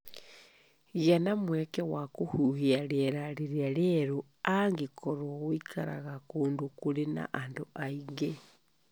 Gĩa na mweke wa kũhuhia rĩera rĩrĩa rĩerũ angĩkorũo ũikaraga kũndũ kũrĩ na andũ aingĩ.